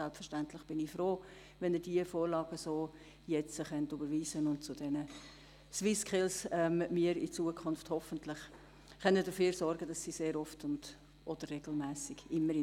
Selbstverständlich bin ich froh, wenn Sie diese Vorlage so überweisen und wir in Zukunft dafür sorgen können, dass die SwissSkills oft oder regelmässig in Bern stattfinden.